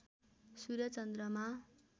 सूर्य चन्द्रमा